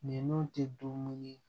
Nin tɛ dumuni ye